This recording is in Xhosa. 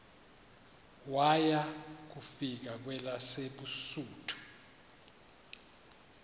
waya kufika kwelabesuthu